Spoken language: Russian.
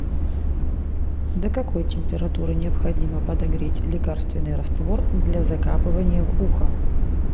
до какой температуры необходимо подогреть лекарственный раствор для закапывания в ухо